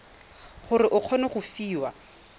gore o kgone go fiwa